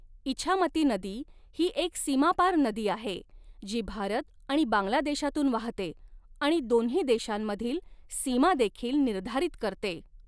इछामती नदी ही एक सीमापार नदी आहे जी भारत आणि बांगलादेशातून वाहते आणि दोन्ही देशांमधील सीमादेखील निर्धारित करते.